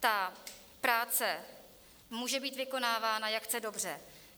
Ta práce může být vykonávána, jak chce dobře.